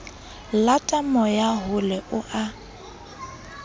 lata moya hole o a